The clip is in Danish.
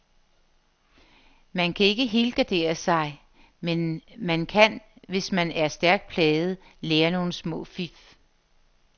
Man kan ikke helgardere sig, men man kan, hvis man er stærkt plaget, lære nogle små fif.